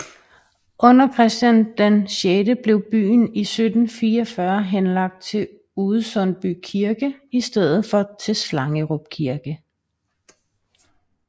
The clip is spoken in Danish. Under Christian VI blev byen i 1744 henlagt til Udesundby kirke i stedet for til Slangerup kirke